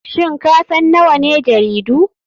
Shin kasan nawane jaridu?